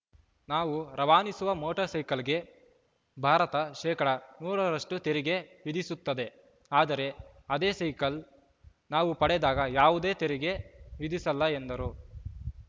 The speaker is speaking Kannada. ನಾವು ರವಾನಿಸುವ ಮೋಟರ್‌ಸೈಕಲ್‌ಗೆ ಭಾರತ ಶೇಕಡಾ ನೂರ ರಷ್ಟುತೆರಿಗೆ ವಿಧಿಸುತ್ತದೆ ಆದರೆ ಅದೇ ಸೈಕಲ್‌ ನಾವು ಪಡೆದಾಗ ಯಾವುದೇ ತೆರಿಗೆ ವಿಧಿಸಲ್ಲ ಎಂದರು